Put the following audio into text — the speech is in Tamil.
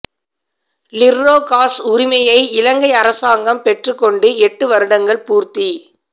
லிற்றோ காஸ் உரிமையை இலங்கை அரசாங்கம் பெற்றுக்கொண்டு எட்டு வருடங்கள் பூர்த்தி